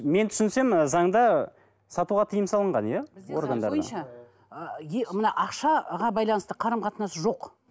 мен түсінсем ы заңда сатуға тиым салынған иә мына ақшаға байланысты қарым қатынас жоқ